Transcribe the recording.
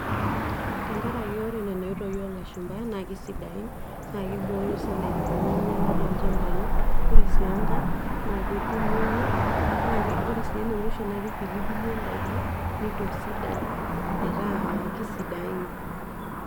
Tenkaraki ore nena oitoi olashumpa, na kesidain, na kibooyo si daikin peminyala tolchambai. Ore si enkae, naketumoyu. Na ore si enemusho, na kipilipilie daiki, nitosidan metaa kesidain.